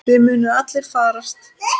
Þið munuð allir farast.